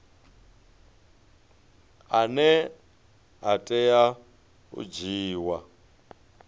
ane a tea u dzhiiwa